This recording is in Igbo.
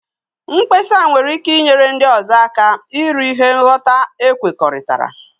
Mkpesa nwere ike inyere ndị ọzọ aka iru ihe ngwọta ekwekọrịtara.